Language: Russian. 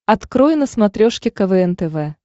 открой на смотрешке квн тв